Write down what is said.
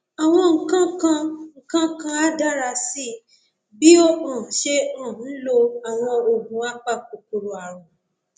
àwọn nǹkan nǹkan á dára sí i bí o um ṣe um ń lo àwọn oògùn apakòkòrò ààrùn